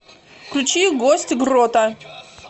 включи гость грота